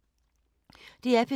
DR P3